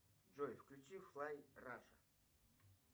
джой включи флай раша